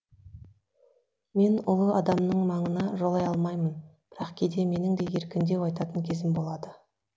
мен ұлы адамның маңына жолай алмаймын бірақ кейде менің де еркіндеу айтатын кезім болады